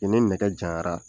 I ni nɛgɛ janyara